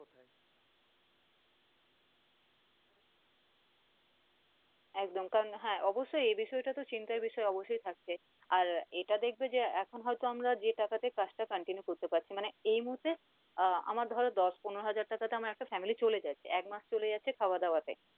একদম কারন হ্যাঁ অবশ্যই এই বিষয় টাতও চিন্তার বিষয় অবশ্যই থাকছে আর এটা দেখবে যে এখন হয়তো আমরা যে টাকা তে কাজটা continue করতে পারছি মানে এই মুহূর্তে আহ আমার ধরো দশ পনেরো হাজার টাকা তে আমার একটা family চলে যাচ্ছে, একমাস চলে যাচ্ছে খাওয়া দাওয়া তে